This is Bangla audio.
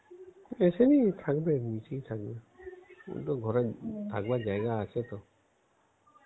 এসে নিক থাকবে নিচেই থাকবে দুটো ঘরে থাকবার জায়গা আছে তো.